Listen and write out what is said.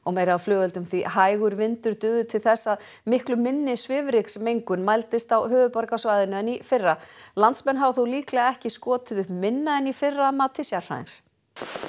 meira af flugeldum því hægur vindur dugði til þess að miklu minni svifryksmengun mældist á höfuðborgarsvæðinu en í fyrra landsmenn hafa þó líklega ekki skotið upp minna en í fyrra að mati sérfræðings